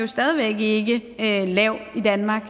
stadig væk ikke lav i danmark